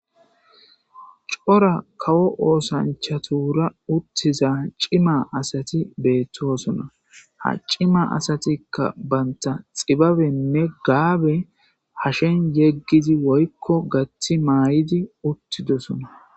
cora kawo oosanchatura uttiza cima asati beettoosona ha cima asatikka banta xibabenne gaabe hashen yeggizi woykko gathi may7idi uttidosona.